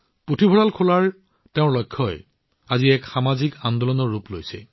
পুথিভঁৰাল খোলাৰ তেওঁৰ লক্ষ্যই আজি এক সামাজিক আন্দোলনৰ ৰূপ লৈছে